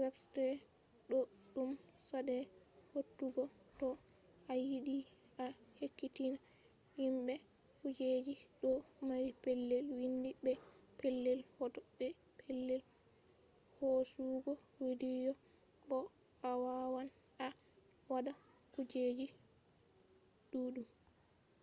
websaits ɗo ɗum saɗai hautugo to a yiɗi a ekkitina himɓe kujeji ɗo mari pellel windi be pellel hoto be pellel hosugo widiyo bo a wawan a waɗa kujeji ɗuɗɗum